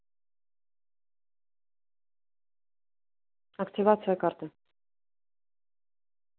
активация карты